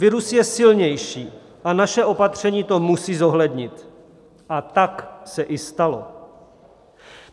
Virus je silnější a naše opatření to musí zohlednit, a tak se i stalo.